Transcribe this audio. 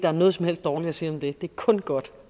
er noget som helst dårligt at sige om det det er kun godt